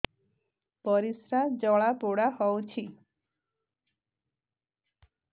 ପରିସ୍ରା ଜଳାପୋଡା ହଉଛି